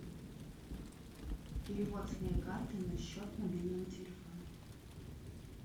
перевод с моей карты на счет мобильного телефона